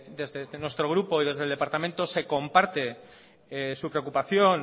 desde nuestro grupo y desde el departamento se comparte su preocupación